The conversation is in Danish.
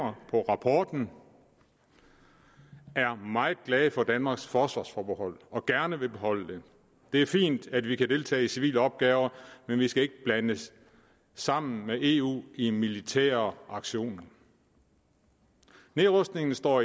på rapporten er meget glade for danmarks forsvarsforbehold og gerne vil beholde det det er fint at vi kan deltage i civile opgaver men vi skal ikke blandes sammen med eu i militære aktioner nedrustningen står